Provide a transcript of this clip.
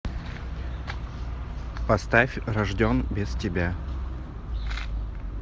поставь рожден без тебя